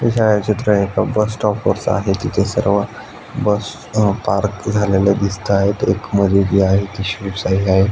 हे चित्र bus stop वरच आहे तिथे सर्व बस अ पार्क झाल्याला दिसतायत अ एक मधी जी आहे ती शिवशाही आहे.